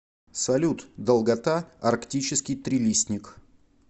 салют долгота арктический трилистник